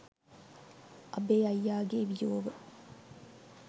අබේ අයියාගේ වියෝව